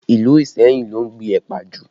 Ìlú Iseyin ló ń gbìn ẹ̀pà jù